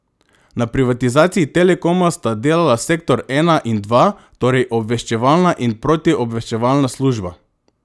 Na privatizaciji Telekoma sta delala sektor ena in dva, torej obveščevalna in protiobveščevalna služba.